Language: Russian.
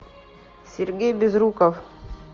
сергей безруков